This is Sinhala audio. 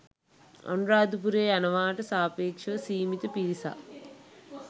අනුරාධපුරේ යනවාට සාපේක්ෂව සීමිත පිරිසක්.